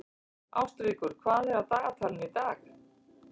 Ástríkur, hvað er á dagatalinu í dag?